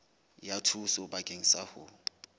ya thuso bakeng sa ho